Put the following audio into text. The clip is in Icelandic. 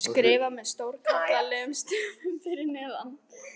skrifað með stórkarlalegum stöfum fyrir neðan.